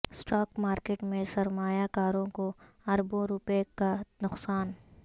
stock market میں سرمایہ کارو ں کو اربوں روپے کا نقصان